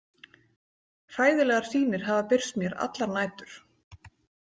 Hræðilegar sýnir hafa birst mér allar nætur.